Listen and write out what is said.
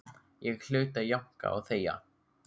Ég hlaut að jánka og þegja.